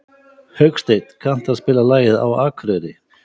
Hauksteinn, kanntu að spila lagið „Á Akureyri“?